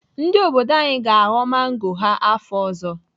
Ndị obodo anyị ga-aghọ mango ha afọ ọzọ.